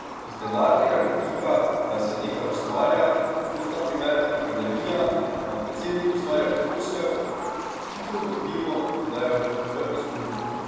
Iz denarnega vidika, da se nekaj ustvarja, kot, na primer, akademija, da predsednik ustvarja posel, hitro ugotovimo, da je v izgubi.